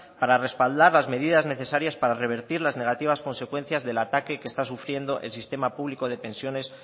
para respaldar las medias necesarias para revertir las negativas consecuencias del ataque que está sufriendo el sistema público de pensiones